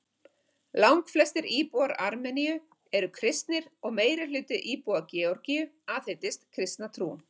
Langflestir íbúar Armeníu eru kristnir og meirihluti íbúa Georgíu aðhyllist kristna trú.